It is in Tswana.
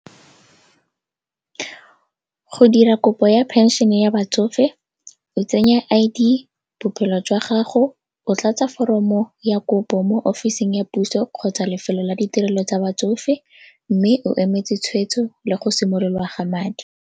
Go dira kopo ya phenšene ya batsofe o tsenya I_D, bophelo jwa gago, o tlatsa foromo ya kopo mo ofising ya puso kgotsa lefelo la ditirelo tsa batsofe mme o emetse tshwetso le go simololwa ga madi.